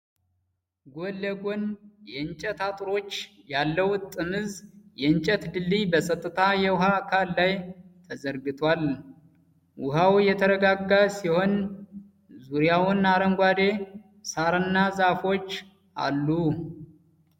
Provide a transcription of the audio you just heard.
ጎን ለጎን የእንጨት አጥሮች ያለው ጥምዝ የእንጨት ድልድይ በጸጥታ የውኃ አካል ላይ ተዘርግቷል። ውኃው የተረጋጋ ሲሆን፣ ዙሪያውን አረንጓዴ ሣርና ዛፎች አሉ።